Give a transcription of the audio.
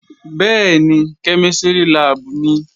Bẹ́ẹ̀ni, kẹ́mísìrì láàbù nìí